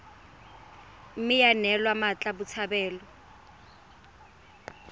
mme ya neelwa mmatla botshabelo